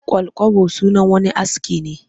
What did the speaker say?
Ƙwal-kwabo sunan wani aski ne